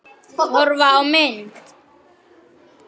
Horfa á mynd